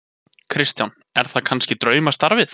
Kristján: Er það kannski draumastarfið?